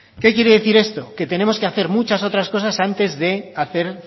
qué quiere decir esto que tenemos que hacer muchas otras cosas antes de hacer